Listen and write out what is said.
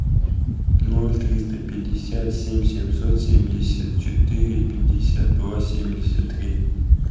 ноль триста пятьдесят семь семьсот семьдесят четыре пятьдесят два семьдесят три